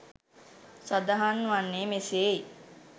සඳහන් වන්නේ මෙසේයි.